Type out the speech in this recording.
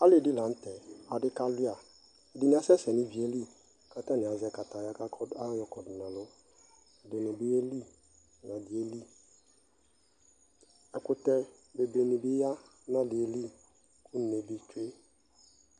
ali di lantɛ, adi kawlia, ɛdini asɛsɛ nʋ iviɛli kʋ atani azɛ kataya kʋ ayɔ kɔdʋ nʋ ɛlʋ, ɛdinibi yɛli, ɛdi yɛli, ɛkʋtɛ dini bi ya nʋ aliɛli kʋ ʋnɛ di twɛ